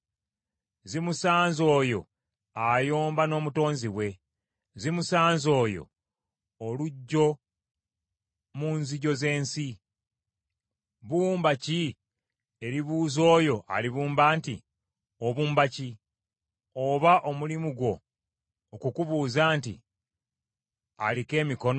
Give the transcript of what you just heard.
“Zimusanze oyo ayomba n’omutonzi we! Zimusanze oyo oluggyo mu nzigyo z’ensi. Bbumba ki eribuuza oyo alibumba nti, ‘Obumba ki?’ Oba omulimu gwo okukubuuza nti, ‘Aliko emikono?’